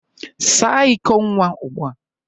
Saa iko nwa ugbua.